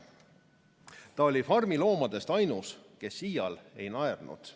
Ta oli farmi loomadest ainus, kes iial ei naernud.